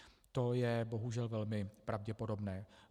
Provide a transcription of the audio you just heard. To je bohužel velmi pravděpodobné.